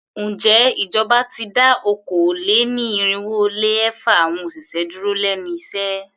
Ǹjẹ́ ìjọba ti dá okòó-lé-ní-irínwó-lé-ẹ̀fa awọn òṣìṣẹ́ dúró lénu iṣẹ́?